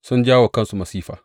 Sun jawo wa kansu masifa.